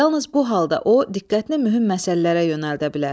Yalnız bu halda o, diqqətini mühüm məsələlərə yönəldə bilər.